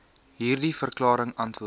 hierdie verklaring antwoord